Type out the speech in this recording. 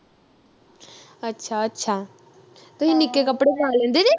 ਅੱਛਾ ਅੱਛਾ ਤੁਹੀ ਨਿੱਕੇ ਕਪੜੇ ਨਾ ਲੈਂਦੇ ਜੇ